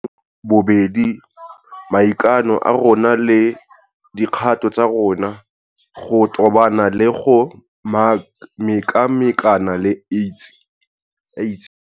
Bobedi maikano a rona le dikgato tsa rona go tobana le go mekamekana le AIDS.